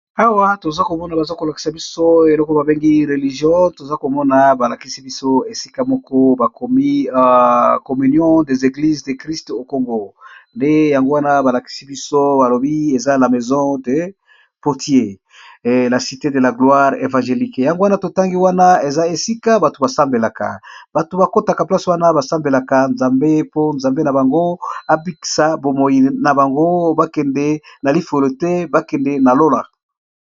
Awa toza komona baza kolakisa biso eloko babengi religion, toza komona balakisi biso esika moko ba communion dez eglise de christe au kong,o nde yango wana balakisi biso balobi eza la maison de potier la cite de la gloire evangélique, yango wana totangi wana eza esika bato basambelaka bato bakotaka place wana basambelaka nzambe mpo nzambe na bango abikisa bomoi na bango bakende na lifolo te bakende na lola.